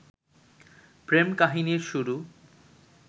প্রেম-কাহিনীর শুরু